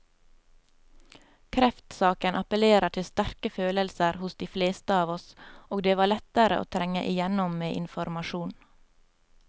Kreftsaken appellerer til sterke følelser hos de fleste av oss, og det var lettere å trenge igjennom med informasjon.